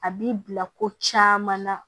A b'i bila ko caman na